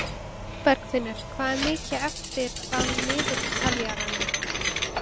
Bergfinnur, hvað er mikið eftir af niðurteljaranum?